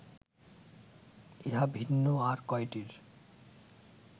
ইহা ভিন্ন আর কয়টির